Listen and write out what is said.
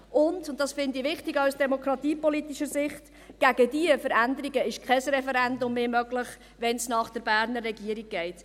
Und – und das finde ich wichtig, auch aus demokratiepolitischer Sicht – gegen diese Veränderungen ist kein Referendum mehr möglich, wenn es nach der Berner Regierung geht.